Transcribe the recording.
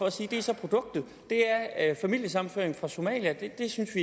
og sige produktet er familiesammenføring fra somalia og det synes